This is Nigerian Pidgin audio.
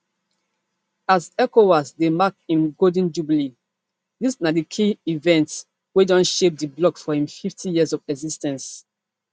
as ecowas dey mark im golden jubilee dis na di key events wey don shape di bloc for im fiftyyears of exis ten ce